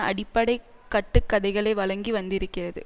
அடிப்படை கட்டுக்கதைகளை வழங்கி வந்திருக்கிறது